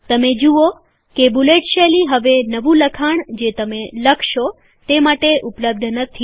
તમે જુઓ કે બુલેટ શૈલી હવે નવું લખાણ જે તમે લખશો તે માટે ઉપલબ્ધ નથી